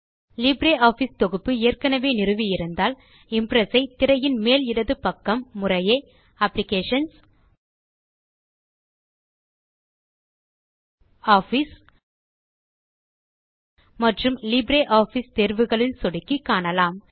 LibreOffice தொகுப்பு ஏற்கெனெவே நிறுவி இருந்தால் இம்ப்ரெஸ் ஐ திரையின் மேல் இடது பக்கம் முறையே அப்ளிகேஷன்ஸ் ஆஃபிஸ் மற்றும் லிப்ரியாஃபிஸ் தேர்வுகளில் சொடுக்கி காணலாம்